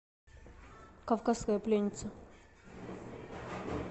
кавказская пленница